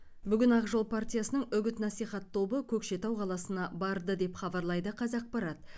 бүгін ақ жол партиясының үгіт насихат тобы көкшетау қаласына барды деп хабарлайды қазақпарат